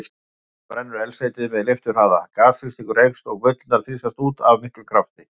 Við það brennur eldsneytið með leifturhraða, gasþrýstingur eykst og bullurnar þrýstast út af miklum krafti.